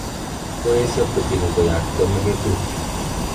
Koesyo putin koyakto mugetut